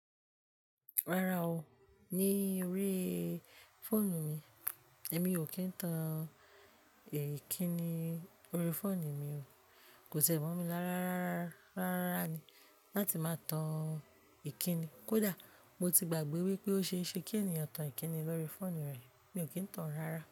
Rárá o, ní orí fóònù mi, èmi ò kí ń tan ìkíni lórí fóònù mi o. Ko ti w mo mi lára rararárá ni láti máa tan ìkíni. Kódà mo ti gbàgbé wípé ó ṣe é ṣe kí ènìyàn tan ìkíni lórí fóònù rẹ̀, mi ò kí ń tan rárá.